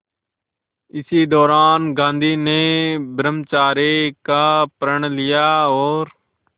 इसी दौरान गांधी ने ब्रह्मचर्य का प्रण लिया और